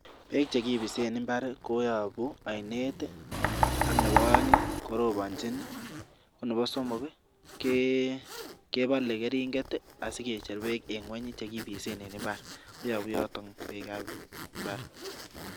Beek chekipisen imbaar koyopu ainet ak nebo aeng, koroponchin, ak nebo somok, kepalei keringet asikecher beek eng ingweny che kipise eng imbaar. Koyopu yoto beekab imbaar.